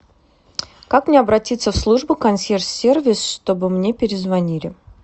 как мне обратиться в службу консьерж сервис чтобы мне перезвонили